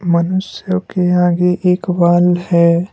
मनुष्य के आगे एक वॉल है।